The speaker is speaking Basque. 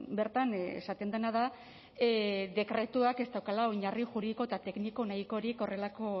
bertan esaten dena da dekretuak ez daukala oinarri juridiko eta tekniko nahikorik horrelako